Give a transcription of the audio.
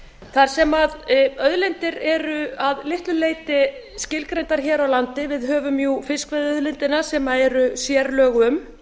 þar sem auðlindir eru að litlu leyti skilgreindar hér á landi við höfum fiskveiðiauðlindina sem eru sérlög um